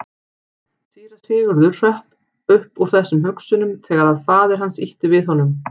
Síra Sigurður hrökk upp úr þessum hugsunum þegar að faðir hans ýtti við honum.